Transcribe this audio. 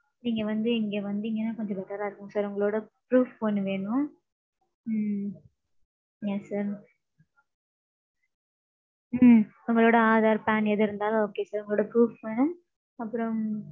நீங்க வந்து இங்க வந்தீங்கனா கொஞ்சோம் better ரா இருக்கும் sir. உங்களோட proof ஒன்னு வேணும். ம்ம். Yes sir. ம்ம். உங்களோட aadharPAN எது இருந்தாலும் okay sir. உங்களுட proof வேணும். அப்பறோம்.